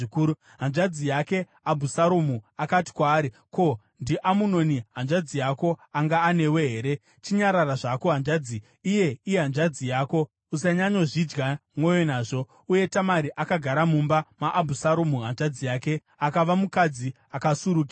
Hanzvadzi yake Abhusaromu akati kwaari, “Ko, ndiAmunoni, hanzvadzi yako, anga anewe here? Chinyarara zvako, hanzvadzi; iye ihanzvadzi yako. Usanyanyozvidya mwoyo nazvo.” Uye Tamari akagara mumba maAbhusaromu hanzvadzi yake, akava mukadzi akasurukirwa.